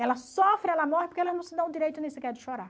Ela sofre, ela morre porque ela não se dá o direito nem sequer de chorar.